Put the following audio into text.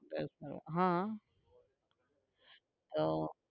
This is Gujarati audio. હા આહ